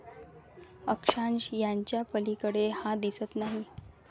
अक्षांश याच्यापलीकडे हा दिसत नाही